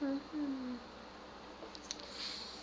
kgonegiša